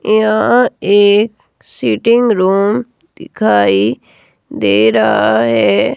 यह एक sitting room दिखाई दे रहा है।